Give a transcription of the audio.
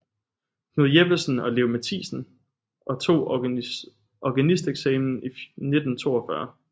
Knud Jeppesen og Leo Mathisen og tog organisteksamen i 1942